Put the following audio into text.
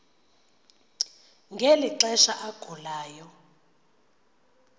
ngeli xesha agulayo